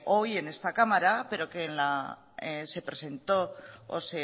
hoy en esta cámara pero que se presentó o